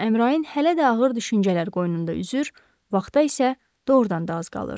Amma Əmrain hələ də ağır düşüncələr qoynunda üzür, vaxta isə doğrudan da az qalırdı.